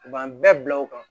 U b'an bɛɛ bila o kan